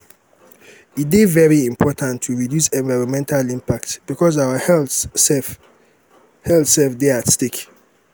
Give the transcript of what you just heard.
e dey very important to reduce environmental impact because our health sef health sef dey at stake